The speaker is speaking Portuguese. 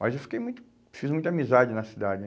Mas eu fiquei muito, fiz muita amizade na cidade.